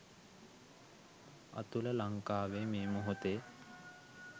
අතුල ලංකාවෙ මේ මොහොතෙ